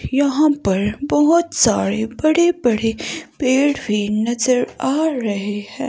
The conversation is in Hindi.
यहाँ पर बहुत सारे बड़े-बड़े पेड़ भी नजर आ रहे हैं।